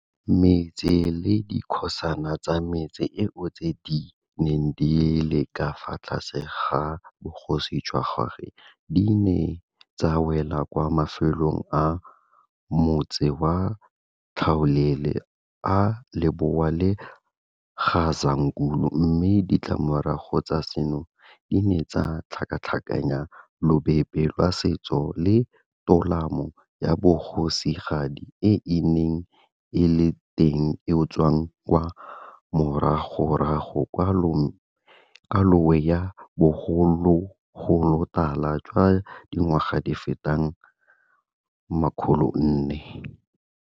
Metse le dikgosana tsa metse eo tse di neng di le ka fa tlase ga bogosi jwa gagwe di ne tsa wela kwa mafelong a motsi wa tlhaolele a Lebowa le Gazankulu mme ditlamorago tsa seno di ne tsa tlhakatlhakanya lobebe lwa setso le tolamo ya bogosigadi e e neng e le teng eo tswang kwa moragorago kwa lowe ya bogologolotala jwa dingwaga di feta 400.